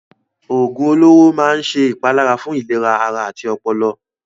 Òògùn olóró máa ń ṣe ìpalára fún ìlera ara àti ọpọlọ.